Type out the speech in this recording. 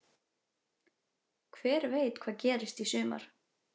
Hver veit hvað gerist í sumar